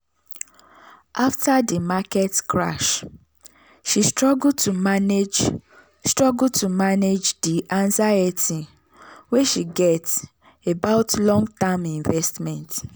"afta di market crash she struggle to manage struggle to manage di anxiety wey she get about long-term investments."